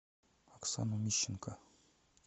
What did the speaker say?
оксану мищенко